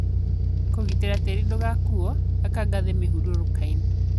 kũgitĩra tĩi ndũgakuo, aka ngathĩ mĩhurũrũkainĩ.